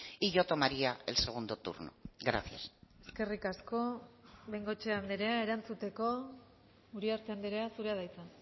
y yo tomaría el segundo turno gracias eskerrik asko bengoechea andrea erantzuteko uriarte andrea zurea da hitza